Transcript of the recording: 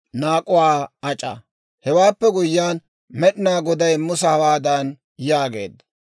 Hewaappe guyyiyaan, Med'inaa Goday Musa hawaadan yaageedda;